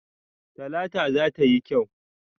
Talata za ta yi kyau.